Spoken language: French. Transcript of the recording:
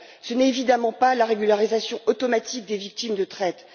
Ce n'est évidemment pas la régularisation automatique des victimes de traite.